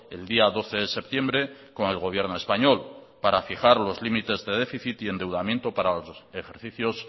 el día doce de septiembre con el gobierno español para fijar los límites de déficit y endeudamiento para los ejercicios